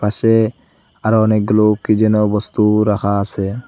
সে আরো অনেকগুলো কি যেন বস্তু রাখা আসে ।